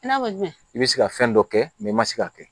I n'a fɔ jumɛn i bɛ se ka fɛn dɔ kɛ i ma se k'a kɛ